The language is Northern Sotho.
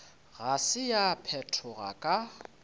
ga se ya phethoga ka